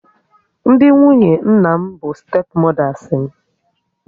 Ndị nwunye nna m bụ stepu modas m